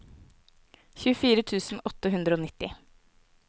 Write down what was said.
tjuefire tusen åtte hundre og nitti